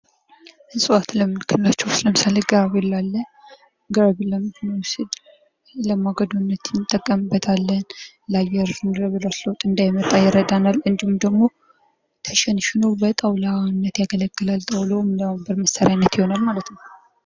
እፅዋት የምንላቸዉ ለምሳሌ ግራቪሊያ አለ። ግራቪሊያ ለምድን ነዉ ብንል ለማገዶነት ይጠቅማል። የአየር ለዉጥ ለምድረ በዳዎች ያገለግለናል። እንዲሁም ደግሞ ተሸንሸሸኖ ለጣዉላ ያገለግለናል ማለት ነዉ።